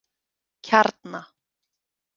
Kjarna